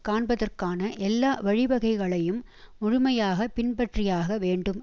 காண்பதற்கான எல்லா வழிவகைகளையும் முழுமையாக பின்பற்றியாக வேண்டும்